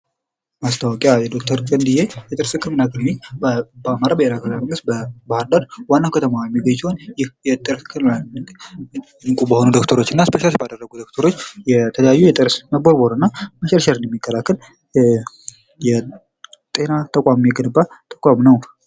ማስታወቂያ የዶክተር ክንድየ የጥርስ ህክምና ክሊኒክ በአማራ ብሔራዊ መንግስት በባህር ዳር ዋና ከተማዋ የሚገኝ ሲሆን ይህ የጥርስ ህክምና ክሊኒክ እንቁ በሆኑ ዶክተሮች እና ስፔሻላይዝ ባደረጉ ዶክተሮች የተለያዩ የጥርስ መቦርቦርን እና መሸርሸር የሚከላከል የጤና ተቋም የገነባ ተቋም ነው።